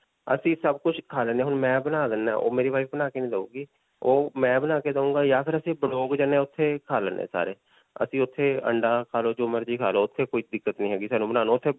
ਅਸੀਂ ਸਭ ਕੁਝ ਖਾ ਲੈਂਦੇ ਹਾਂ. ਹੁਣ ਮੈਂ ਬਣਾ ਲੈਂਦਾ ਹਾਂ. ਓਹ ਮੇਰੀ wife ਬਣਾ ਕੇ ਨਹੀਂ ਦਉਗੀ. ਓਹ ਮੈਂ ਬਣਾ ਕੇ ਦਉਂਗਾ ਜਾਂ ਫਿਰ ਅਸੀਂ ਜਾਂਦੇ ਹਾਂ ਓੱਥੇ ਖਾ ਲੈਂਦੇ ਹਾਂ. ਅਸੀਂ ਓੱਥੇ ਅੰਡਾ ਖਾ ਲੋ ਜੋ ਮਰਜੀ ਖਾ ਲੋ. ਓੱਥੇ ਕੋਈ ਦਿੱਕਤ ਨਹੀਂ ਹੈਗੀ. .